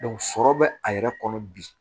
sɔrɔ bɛ a yɛrɛ kɔnɔ bi